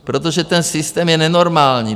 Protože ten systém je nenormální.